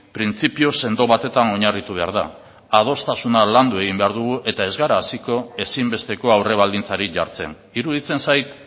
printzipio sendo batetan oinarritu behar da adostasuna landu egin behar dugu eta ez gara hasiko ezinbesteko aurrebaldintzarik jartzen iruditzen zait